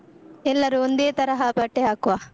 ಎಲ್ಲರು ಒಂದೇ ತರಹ ಬಟ್ಟೆ ಹಾಕುವ.